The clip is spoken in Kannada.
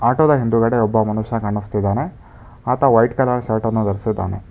ಆಟೋ ದ ಹಿಂದುಗಡೆ ಒಬ್ಬ ಮನುಷ್ಯ ಕಾಣುಸ್ತಿದಾನೆ ಆತ ವೈಟ್ ಕಲರ್ ಶರ್ಟ್ ಅನ್ನು ಧರಿಸಿದ್ದಾನೆ.